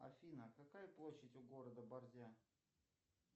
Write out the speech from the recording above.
афина какая площадь у города борзя